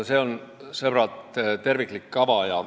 Sõbrad, see on terviklik kava.